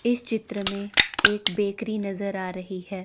इस चित्र में एक बेकरी नजर आ रही है।